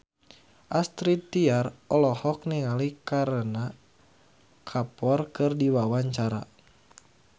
Astrid Tiar olohok ningali Kareena Kapoor keur diwawancara